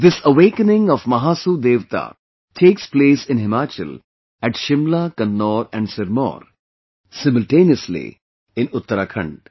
This awakening of Mahasu Devta takes place in Himachal at Shimla, Kinnaur and Sirmaur; simultaneously in Uttarakhand